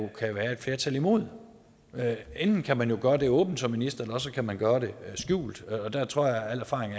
kan være et flertal imod enten kan man gøre det åbent som minister eller også kan man gøre det skjult og der tror jeg al erfaring